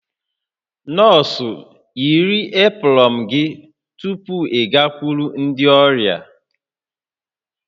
Nọọsụ, yiri eprọn gị tupu ịgakwuru ndị ọrịa!